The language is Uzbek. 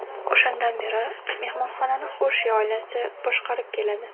O‘shandan beri mehmonxonani Xoshi oilasi boshqarib keladi.